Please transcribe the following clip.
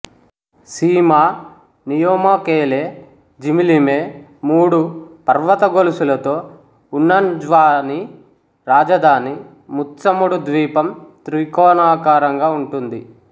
సీమా నియోమాకేలే జిమిలిమే మూడు పర్వత గొలుసులతో ఉన్న న్జ్వాని రాజధాని ముత్సముడు ద్వీపం త్రికోణాకారంగా ఉంటుంది